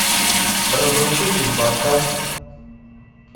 разрушитель поставь